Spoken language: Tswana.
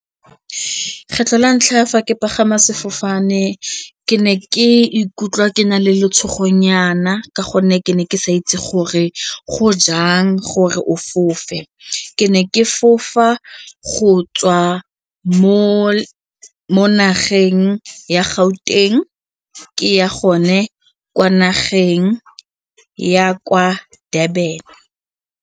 Kgetlho la ntlha fa ke pagama sefofane, ke ne ke ikutlwa ke na le letshogonyana ka gonne ke ne ke sa itse gore go jang gore o fofe, ke ne ke fofa go tswa mo nageng ya Gauteng ke ya gone kwa nageng ya kwa Durban.